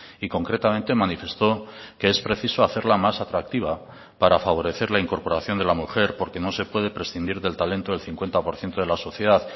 y concretamente manifestó que es preciso hacerla más atractiva para favorecer la incorporación de la mujer porque no se puede prescindir del talento del cincuenta por ciento de la sociedad